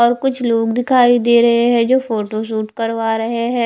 और कुछ लोग दिखाई दे रहे है जो फोटोशूट करवा रहे है।